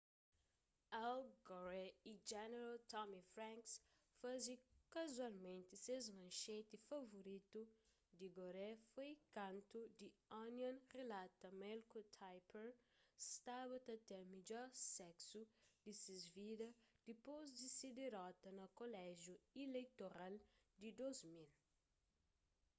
al gore y jeneral tommy franks faze kazualmenti ses manxeti favoritu di gore foi kantu the onion rilata ma el ku tipper staba ta ten midjor seksu di ses vida dipôs di se dirota na koléjiu ileitoral di 2000